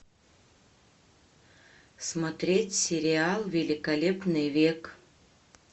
смотреть сериал великолепный век